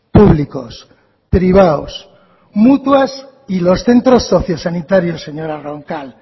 públicos privados mutuas y los centros sociosanitarios señora roncal